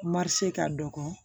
Marisi ka dɔgɔ